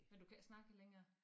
Men du kan ikke snakke det længere